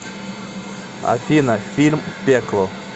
афина фильм пекло